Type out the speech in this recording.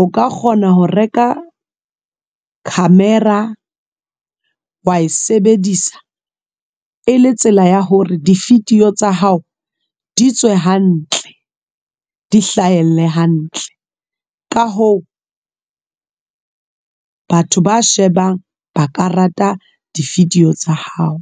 o ka kgona ho reka camera wa e sebedisa e le tsela ya hore di video tsa hao di tswe hantle, di hlahelle hantle ka ho batho ba shebang ba ka rata di-video tsa hao.